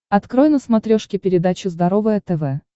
открой на смотрешке передачу здоровое тв